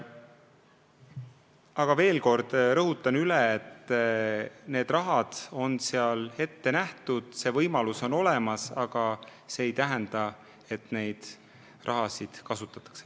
Aga ma veel kord rõhutan: see raha on seal ette nähtud, selle kasutamise võimalus on olemas, aga see ei tähenda, et seda raha kasutatakse.